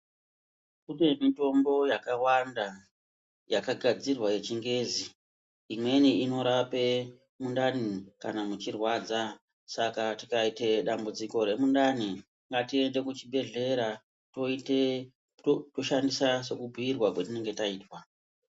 Kune mitombo yakawanda yakagazirwa yechigezi umweni inorape mudhani kana muchirwadza saka tikaita dambudziko remudhani ngatiende kuzvigwehlera toshandisa sekubhuirwa kwatinenge taita .